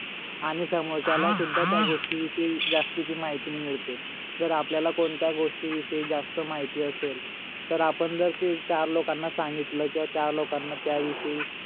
आणि सोमरच्याला सुद्धा त्या गोष्टी विषयी जास्तीची माहिती मिडते जर आपल्याला कोणत्या गोष्टी विषयी जास्त माहिती असेल तर आपण जर ते चार लोकांना सांगितल किवा चार लोकांना त्या विषयी